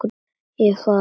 Ég er farinn.